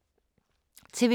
TV 2